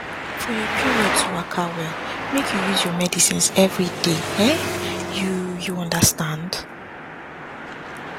for your period to waka wel make you use your medicines everyday um you you understand